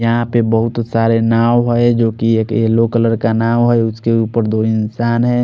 यहाँ पे बहुत सारे नाव है जो की एक येलो कलर का नाव है उसके ऊपर दो इंसान है।